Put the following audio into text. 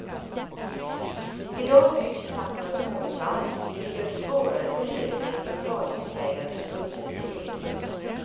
Idag byggs knappt några småhus alls vilket gör det svårare för hyresgäster och radhusägare att byta upp sig till eget hus.